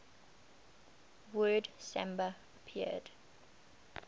word samba appeared